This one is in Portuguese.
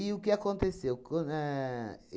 o que aconteceu? Quando éh